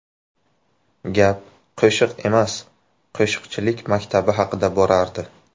Gap qo‘shiq emas, qo‘shiqchilik maktabi haqida borardi.